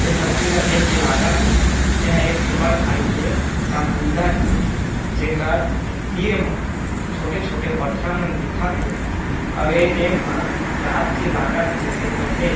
ये तस्वीर ला देख के लागत हे ए ह एक ठी बढ़ भारी के समुन्दर हे जेकर तीर मा छोटे-छोटे पत्थरा मन दिखत हे अब ये टाइम ह रात के लागत जैसे तो हे ।